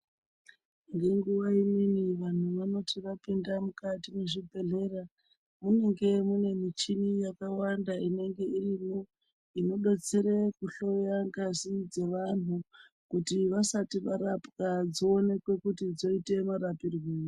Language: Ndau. Ngenguwa imweni vantu vanoti vapinda mukati mwezvibhedhlera munenge mune michini yakawanda inenge irimwo inodetsere kuhloyya ngazi dzevanhu kuti vasati varapwa dsoonekwankuti dzoite marapirwei.